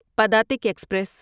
Padatik express